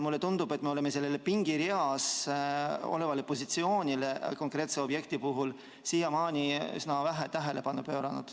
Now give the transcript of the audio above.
Mulle tundub, et me oleme sellele pingereas olemise positsioonile konkreetse objekti puhul siiamaani üsna vähe tähelepanu pööranud.